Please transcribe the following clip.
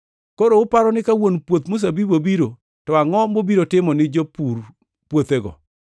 “Koro, uparo ni ka wuon puoth mzabibu obiro to angʼo mobiro timo ne jopur puothego?”